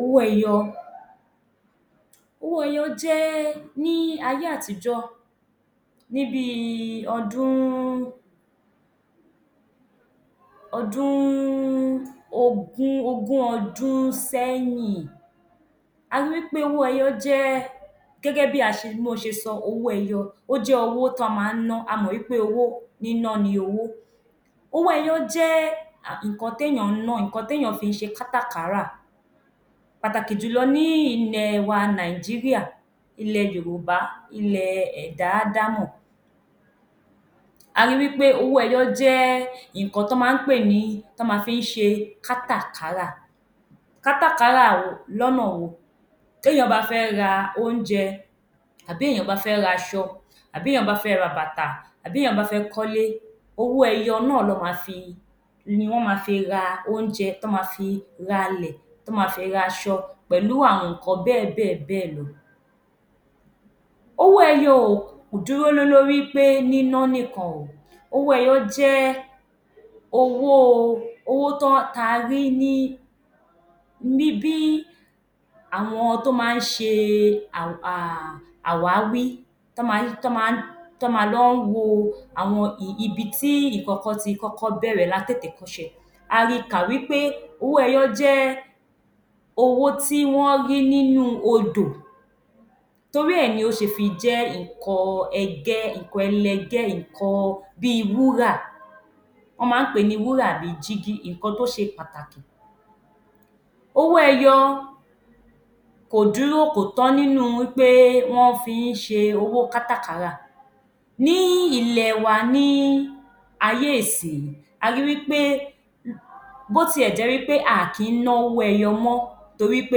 Owó ẹyọ Owó ẹyọ jẹ́ ní ayé àtijó, ní bí i ogún ọdún sẹ́yìn, a rí wí pé owó ẹyọ jẹ́ gẹ́gẹ́ bí mo ṣe sọ, owó ẹyọ, ó jẹ́ owó tọ́ máa ń ná. A mọ̀ wí pé owó níná ni owó. Owó ẹyọ jẹ́ nǹkan tí èèyàn ń ná, nǹkan tí èèyàn fi ń ṣe kátà-kárà pàtàkì jù lọ ní ilẹ̀ wa Nàìjíríà, ilẹ̀ Yorùbá, ilẹ̀ ẹ̀dá Ádámọ̀. A rí wí pé owó ẹyọ jẹ́ nǹkan tí wọ́n ma fí ń ṣe kátà-kárà. Kátà-kárà lọ́nà wo? Téèyàn bá fẹ́ ra oúnjẹ, tàbí èèyàn bá fẹ́ raṣọ, tàbí èèyàn bá fẹ́ ra bàtà, tàbí èèyàn bá fẹ́ kólé, owó ẹyọ náà ni wọ́n ma fi ra oúnjẹ, tọ́ ma fi ralẹ̀, tó ma fi raṣọ, pẹ̀lú àwọn nǹkan bẹ́ẹ̀ bẹ́ẹ̀ bẹ́ẹ̀ lọ. Owó ẹyọ ò dúró lé lórí pé níná nìkan o, owó ẹyọ jẹ́ owó ta rí ní àwọn tó máa ń ṣe àwáwí, tọ́ ma lọ ń wo àwọn ibi tí nǹkan kan ti kọ́kọ́ bẹ̀rẹ̀ látètèkọ́ṣe. A ri kà wí pé owó ẹyọ jẹ́ owó tí wọ́n rí nínú Odò. Torí ẹ̀ ni ó ṣe fi jẹ́ nǹkan ẹlẹgẹ́, bí wúrà. Wọ́n máa ń pè ní wúrà bí jígí nǹkan tí ó ṣe pàtàkì. Owó ẹyọ kò dúró nínú wí pé wọ́n fi ń ṣe owó kátà-kárà. Ní ilẹ̀ wa ní ayé ìsìyín, a rí wí pé bó tí ẹ̀ jẹ́ wí pé a à kí ná owó ẹyọ mọ́, torí pé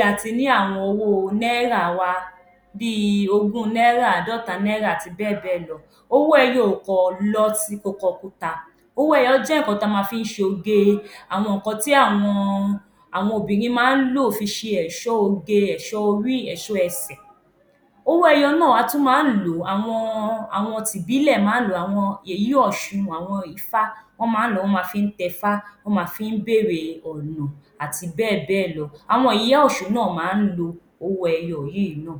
a ti ní àwọn owó náírà wa bí ogún náírà, àádọ́ta náírà àti bẹ́ẹ̀ bẹ́ẹ̀ lọ. Owó ẹyọ kò kọ̀ kùtà. Owó ẹyọ jẹ́ nǹkan ta ma fi ń ṣoge, àwọn nǹkan tí àwọn obìnrin máa ń lọ fi ṣe ẹ̀ṣọ́ oge, ẹ̀ṣọ́ orí, ẹ̀ṣọ́ ẹsẹ̀. Owó ẹyọ náà a tún máa ń lò ó, àwọn ti ìbílẹ̀ máa ń lò ó, àwọn yèyé ọ̀ṣun, àwọn ifá,, wọ́n máa ń lò ó, wọ́n ma fi ń tẹfá, wọ́n ma fi ń bèrè ọ̀nà àti bẹ́ẹ̀ bẹ́ẹ̀ lọ. Àwọn yèyé ọ̀ṣun náà máa ń lo owó ẹyọ yìí náà.